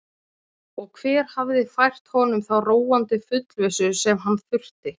Og hver hafði fært honum þá róandi fullvissu sem hann þurfti?